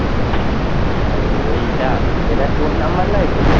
এইটা, এটা তোর নম্বর নেই তো?